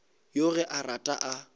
yoo ge a rata a